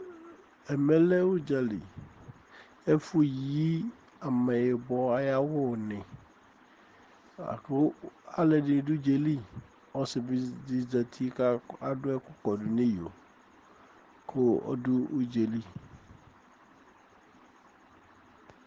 ɛmɛ lɛ udzali ɛfu yi amɛyibɔ aya awu ni laku alɛdini du udzɛli ɔsi di bi zɛti ka ayɔ ku kɔdu ni iyo kɔ ɔdu udzéli